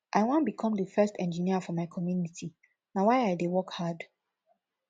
i wan become the first engineer for my community na why i dey work hard